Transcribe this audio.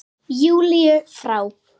Júlíu frá.